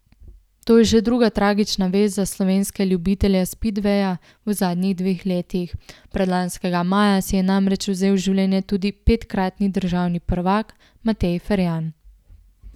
To je že druga tragična vest za slovenske ljubitelje spidveja v zadnjih dveh letih, predlanskega maja si je namreč vzel življenje tudi petkratni državni prvak Matej Ferjan.